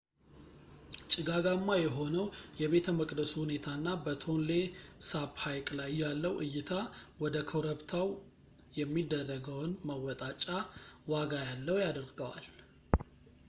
ጭጋጋማ የሆነው የቤተ መቅደሱ ሁኔታና በtonle sap ሃይቅ ላይ ያለው እይታ ወደ ኮረፕብታው የሚደረገውን መወጣጫ ዋጋ ያለው ያደርገዋል